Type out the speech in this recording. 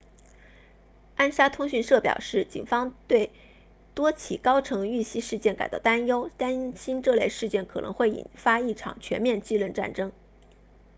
安莎通讯社表示警方对多起高层遇袭事件感到担忧担心这类事件可能会引发一场全面继任战争